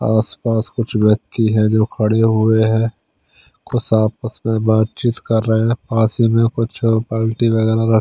आस पास कुछ व्यक्ति हैं जो खड़े हुए हैं कुछ आपस में बातचीत कर रहे हैं पास ही में कुछ पार्टी वगैरह र--